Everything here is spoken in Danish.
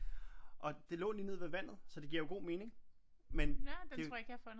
Og det lå lige nede ved vandet så det giver jo god mening men det